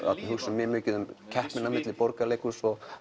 hugsum mjög mikið um keppnina milli Borgarleikhúss og